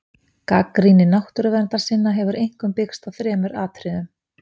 Gagnrýni náttúruverndarsinna hefur einkum byggst á þremur atriðum.